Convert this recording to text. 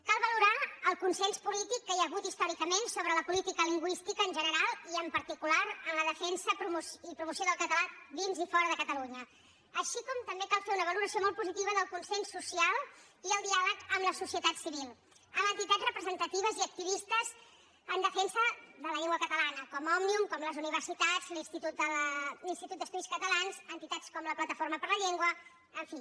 cal valorar el consens polític que hi ha hagut històricament sobre la política lingüística en general i en particular en la defensa i promoció del català dins i fora de catalunya així com també cal fer una valoració molt positiva del consens social i el diàleg amb la societat civil amb entitats representatives i activistes en defensa de la llengua catalana com òmnium com les universitats l’institut d’estudis catalans entitats com la plataforma per la llengua en fi